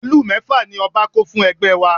Màálù mẹ́fà ni ọba kó fún ẹgbẹ́ wa